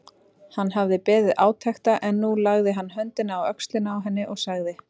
Hann hafði beðið átekta en nú lagði hann höndina á öxlina á henni og sagði